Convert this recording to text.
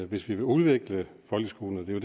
hvis vi vil udvikle folkeskolen og det